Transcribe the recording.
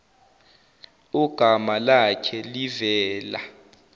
ogama lakhe livela